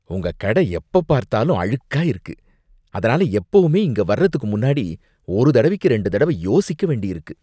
உங்க கடை எப்பப்பார்த்தாலும் அழுக்கா இருக்கு, அதனால எப்பவுமே இங்க வர்றதுக்கு முன்னாடி ஒரு தடவைக்கு ரெண்டு தடவ யோசிக்க வேண்டியிருக்கு